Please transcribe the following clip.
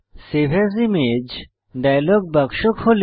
save as image dialog বাক্স খোলে